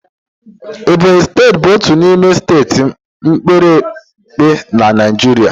Ebonyị steeti bụ otu n'ime steeti mepere emepe na Naịjirịa.